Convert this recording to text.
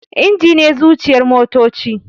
Inji ne zuciyar motoci